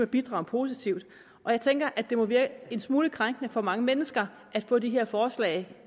bidrager positivt og jeg tænker at det må virke en smule krænkende for mange mennesker at få de her forslag